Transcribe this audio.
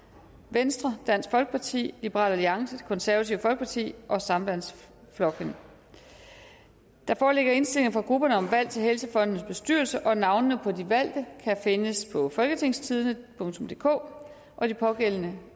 venstre dansk folkeparti liberal alliance det konservative folkeparti og sambandsflokkurin der foreligger indstillinger fra grupperne om valg til helsefondens bestyrelse og navnene på de valgte kan findes på folketingstidende DK de pågældende